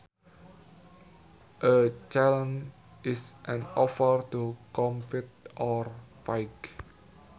A challenge is an offer to compete or fight